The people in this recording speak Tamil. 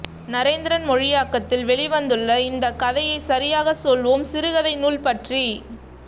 நரேந்திரன் மொழியாக்கத்தில் வெளிவந்துள்ள இந்தக் கதையை சரியாகச் சொல்வோம் சிறுகதை நூல் பற்றி